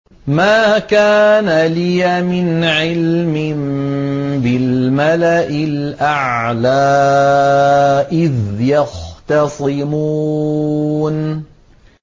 مَا كَانَ لِيَ مِنْ عِلْمٍ بِالْمَلَإِ الْأَعْلَىٰ إِذْ يَخْتَصِمُونَ